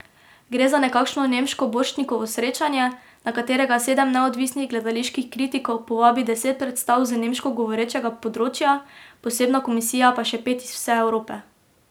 Gre za nekakšno nemško Borštnikovo srečanje, na katerega sedem neodvisnih gledaliških kritikov povabi deset predstav z nemško govorečega področja, posebna komisija pa še pet iz vse Evrope.